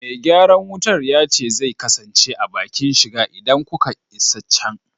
Me gyaran wutar ya ce zai kasance a bakin shiga idan kuka isa can.